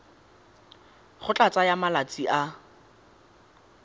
go tla tsaya malatsi a